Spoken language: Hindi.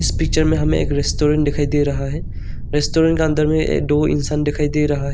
पिक्चर में हमें एक रेस्टोरेंट दिखाई दे रहा है रेस्टोरेंट का अंदर में दो इंसान दिखाई दे रहा है।